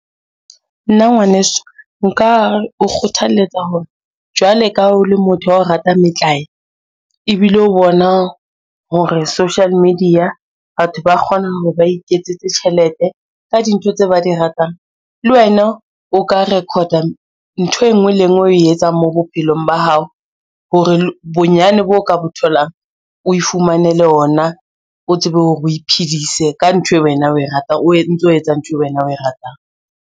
Nna ngwaneso nka o kgothaletsa hore, jwale ka o le motho a ratang metlae ebile o bona hore social media batho ba kgona hore ba iketsetse tjhelete ka dintho tse ba di ratang, le wena o ka record-a ntho enngwe le enngwe o etsang mo bophelong ba hao hore bonyane bo ka bo tholang o e fumanele ona, o tsebe hore o iphedise ka ntho e wena o e ratang, o ntso etsa ntho e wena o e ratang.